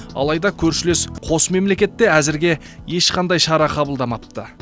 алайда көршілес қос мемлекет те әзірге ешқандай шара қыбалдамапты